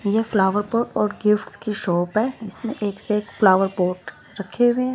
ये flower pot और gifts की शॉप है जिसमें एक से एक फ्लावर पॉट रखे हुए--